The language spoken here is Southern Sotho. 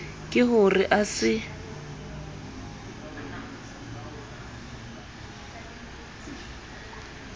ke ho re a se